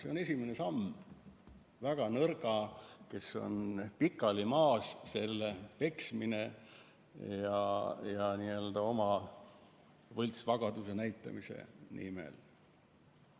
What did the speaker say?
See on esimene samm väga nõrga tootja vastu, kes on pikali maas, tema peksmine oma võltsvagaduse näitamiseks.